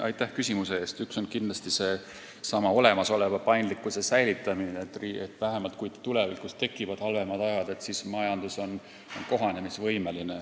Ma arvan, et üks on kindlasti seesama olemasoleva paindlikkuse säilitamine, et vähemalt siis, kui tulevikus tekivad halvemad ajad, on majandus kohanemisvõimeline.